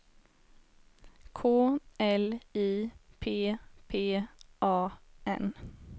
K L I P P A N